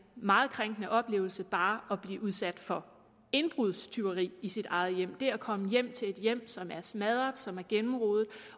meget krænkende oplevelse bare at blive udsat for indbrudstyveri i sit eget hjem det at komme hjem til et hjem som er smadret som er gennemrodet